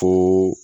Ko